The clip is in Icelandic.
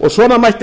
og svona mætti